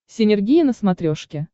синергия на смотрешке